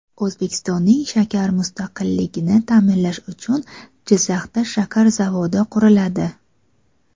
O‘zbekistonning shakar mustaqilligini ta’minlash uchun Jizzaxda shakar zavodi quriladi.